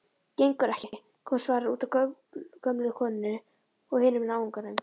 Gengur ekki,- kom svarið, útaf gömlu konunni og hinum náunganum.